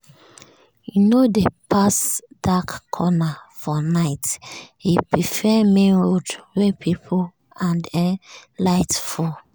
e no dey pass dark corner for night; e prefer main road wey people and um light full.